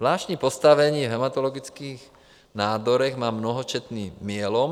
Zvláštní postavení v hematologických nádorech má mnohočetný myelom.